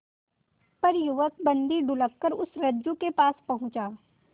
पर युवक बंदी ढुलककर उस रज्जु के पास पहुंचा